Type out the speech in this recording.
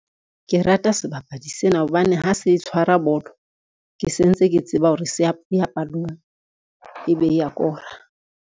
Ke rata sebapadi sena hobane ha se tshwara bolo, ke sentse ke tseba hore eya palong ebe e ya kora.